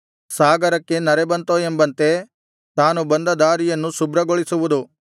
ಸಾಗರಕ್ಕೆ ನರೆ ಬಂತೋ ಎಂಬಂತೆ ತಾನು ಬಂದ ದಾರಿಯನ್ನು ಶುಭ್ರಗೊಳಿಸುವುದು